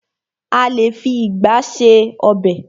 A lé fi ìgba ṣe ọb|.